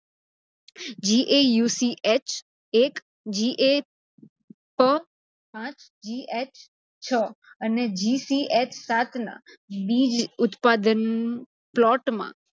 GAUCH એક, GCH પાચ, GCH છ અને GCH સાત નાં બીજ ઉત્પાદન plot માં